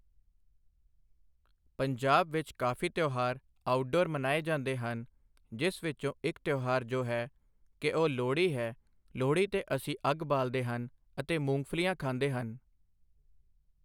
ਪੰਜਾਬ ਵਿੱਚ ਕਾਫ਼ੀ ਤਿਉਹਾਰ ਆਊਟਡੋਰ ਮਨਾਏ ਜਾਂਦੇ ਹਨ ਜਿਸ ਵਿੱਚੋਂ ਇੱਕ ਤਿਉਹਾਰ ਜੋ ਹੈ ਕਿ ਉਹ ਲੋਹੜੀ ਹੈ ਲੋਹੜੀ 'ਤੇ ਅਸੀਂ ਅੱਗ ਬਾਲ਼ਦੇ ਹਨ ਅਤੇ ਮੂੰਗਫਲੀਆਂ ਖਾਂਦੇ ਹਨ।